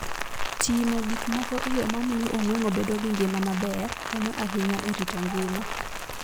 Timo gik moko e yo mamiyo ong'weng'o bedo gi ngima maber konyo ahinya e rito ngima.